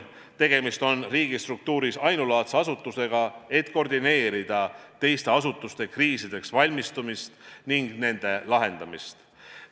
Tegemist on riigistruktuuris ainulaadse asutusega, et koordineerida teiste asutuste kriisideks valmistumist ja nende lahendamist.